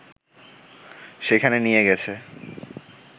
সেখানে নিয়ে গেছে